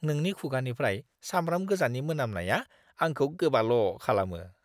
नोंनि खुगानिफ्राय सामब्राम गोजानि मोनामनाया आंखौ गोबाल' खालामो!